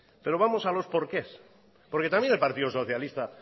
pero vamos a los porqués porque también al partido socialista